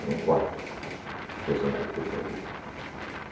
Eram quatro personagens que ele fazia.